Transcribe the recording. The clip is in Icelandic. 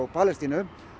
Palestínu